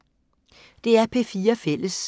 DR P4 Fælles